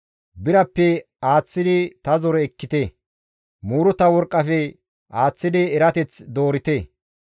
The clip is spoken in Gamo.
Birappe aaththidi ta zore ekkite; muuruta worqqafe aaththidi erateth doorite.